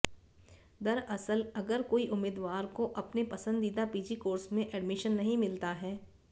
दरअसल अगर कोई उम्मीदवार को अपने पसंदीदा पीजी कोर्स में एडमिशन नहीं मिलता है